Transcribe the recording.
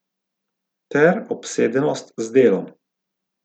Ter obsedenost z delom.